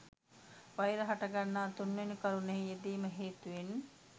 වෛර හටගන්නා තුන්වෙනි කරුණෙහි යෙදීම හේතුවෙන්